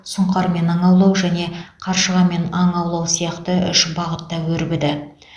сұңқармен аң аулау және қаршығамен аң аулау сияқты үш бағытта өрбіді